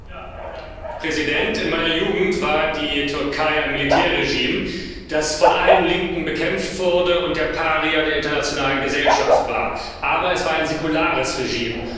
Herr Präsident! In meiner Jugend war die Türkei ein Militärregime, das von allen Linken bekämpft wurde und der Paria der internationalen Gesellschaft war, aber es war ein säkulares Regime.